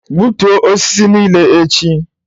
Gbutuo osisi nile echi.